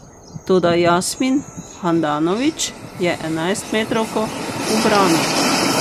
Toda Jasmin Handanović je enajstmetrovko ubranil.